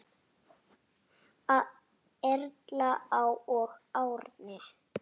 Erla og Árni.